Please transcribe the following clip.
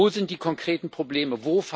Wo sind die konkreten Probleme?